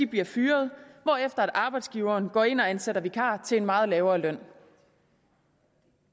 bliver fyret hvorefter arbejdsgiveren går ind og ansætter vikarer til en meget lavere løn